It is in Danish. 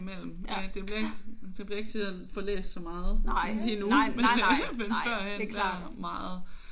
En gang i mellem men det bliver det bliver ikke til at få læst så meget lige nu. Men øh men førhen der meget